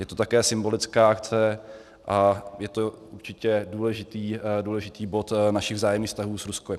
Je to také symbolická akce a je to určitě důležitý bod našich vzájemných vztahů s Ruskem.